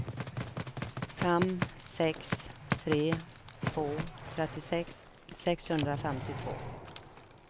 fem sex tre två trettiosex sexhundrafemtiotvå